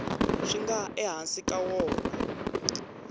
swi nga ehansi ka wona